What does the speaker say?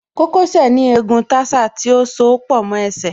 Kókó sẹ̀ ní egun tarsal tí ó soó pọ̀ mọ́ ẹsẹ̀